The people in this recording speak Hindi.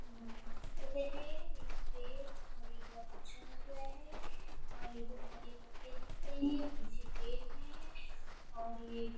इमारत की तरह है एक पेड़ और ये बहुत अच्छा लग रहा है और ये जो हरे पत्ते दिख रहे हैं पीछे पेड़ है और ये --